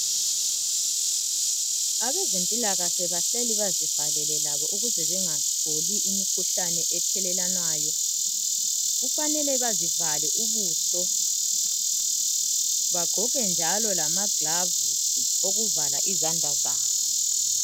Abezempilakahle bahleli bazivalele labo ukuze bengatholi imikhuhlane ethelelwanwayo. Kufanele bazivale ubuso, bagqoke njalo lamaglavisi okuvala izandla zabo.